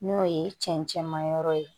N'o ye cɛncɛn ma yɔrɔ ye